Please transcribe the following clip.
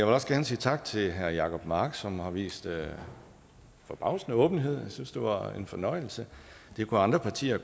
også gerne sige tak til herre jacob mark som har vist forbavsende åbenhed jeg synes at det var en fornøjelse det kunne andre partier